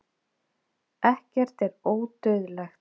ekkert er ódauðlegt